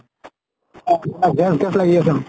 gas gas লাগি আছে।